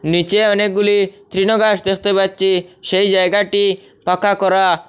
নীচে অনেকগুলি তৃণগাছ দেখতে পাচ্ছি সেই জায়গাটি পাকা করা।